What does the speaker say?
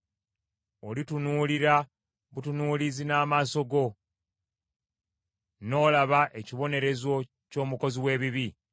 Olitunuulira butunuulizi n’amaaso go; n’olaba ekibonerezo ky’omukozi w’ebibi.